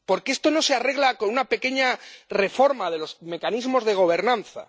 Porque esto no se arregla con una pequeña reforma de los mecanismos de gobernanza.